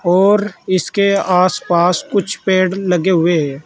और इसके आस पास कुछ पेड़ लगे हुए है।